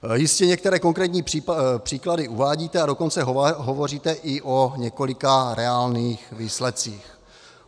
Jistě některé konkrétní případy uvádíte, a dokonce hovoříte i o několika reálných výsledcích.